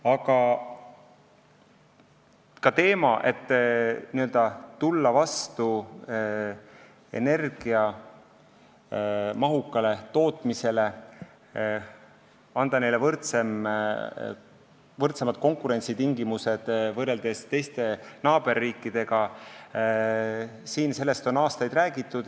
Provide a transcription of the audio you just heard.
Aga sellest, et tulla vastu energiamahukale tootmisele, anda neile tootjatele võrdsemad konkurentsitingimused võrreldes naaberriikidega, on aastaid räägitud.